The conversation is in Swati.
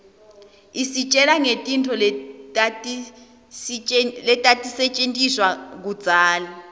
isitjela ngetintfo letatisetjentiswa kudzala